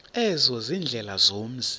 ezo ziindlela zomzi